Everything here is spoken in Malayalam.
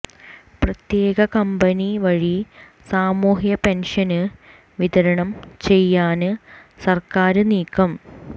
പ്രത്യേക കമ്പനി വഴി സാമൂഹ്യ പെന്ഷന് വിതരണം ചെയ്യാന് സര്ക്കാര് നീക്കം